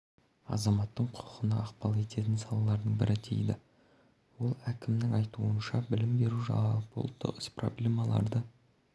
азаматтың құқығына ықпал ететін салалардың бірі дейді ол әкімнің айтуынша білім беру жалпыұлттық іс проблемаларды